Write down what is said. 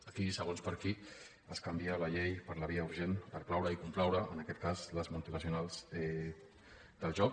aquí segons per a qui es canvia la llei per la via urgent per plaure i complaure en aquest cas les multinacionals del joc